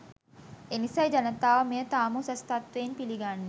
එනිසයි ජනතාව මෙය තාම උසස් තත්වයෙන් පිළිගන්නේ